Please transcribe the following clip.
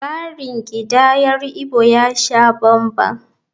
Tsarin kidayar Igbo ya sha banban.